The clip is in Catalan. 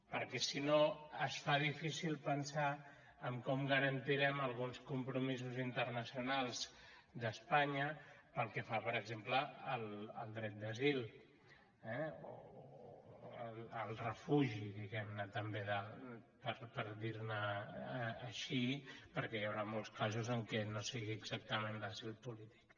perquè si no es fa difícil pensar en com garantirem alguns compromisos internacionals d’espanya pel que fa per exemple al dret d’asil eh al refugi diguem·ne tam·bé per dir·ho així perquè hi haurà molts casos en què no sigui exactament d’asil polític